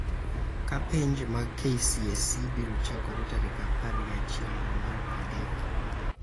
ka penj mag KCSE biro chakore tarik apar gi achiel dwe mar adek.